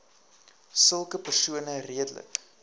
sulke persone redelik